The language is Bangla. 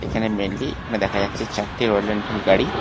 এখানে মেইনলি এখানে দেখা যাচ্ছে চারটে রয়েল এনফিল্ড গাড়ি।